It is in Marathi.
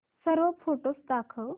सर्व फोटोझ दाखव